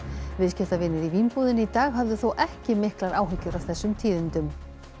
viðskiptavinir í Vínbúðinni í dag höfðu þó ekki miklar áhyggjur af þessum tíðindum